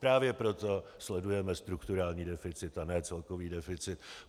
Právě proto sledujeme strukturální deficit a ne celkový deficit.